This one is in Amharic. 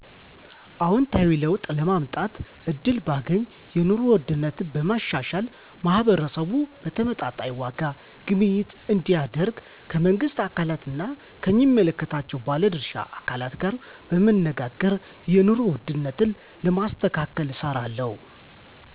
አዎንታዊ ለውጥ ለማምጣት እድል ባገኝ የንሮ ውድነትን በማሻሻል ማህበረሰቡ በተመጣጣኝ ዋጋ ግብይት እንዲያደርግ ከመንግስት አካላት ና ከሚመለከታቸው ባለድርሻ አካላት ጋር በመነጋገር የንሮ ውድነትን ለማስተካከል እሰራለሁ